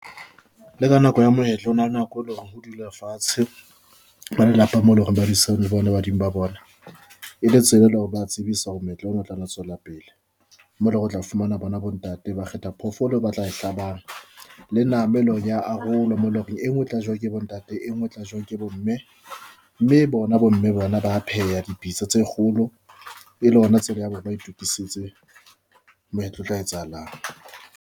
Le ka nako ya moetlo ho na le nako e leng hore ho dule fatshe. Ba lelapa mo loreng ba le bona badimo ba bona e le tsela, eleng hore ba tsebisa hore meetlo etla tswela pele mole re tla fumana bona bontate ba kgetha phoofolo eo ba tla e tlabang le nama eo ele hore eya arolwa haholo mo loreng e ngwe e tla jewang ke bontate e ngwe e tla jewang ke bomme, mme bona bo mme bona ba pheha dipitsa tse kgolo e le hona tsela ya bona ba itokisetse moetlo o tla etsahalang.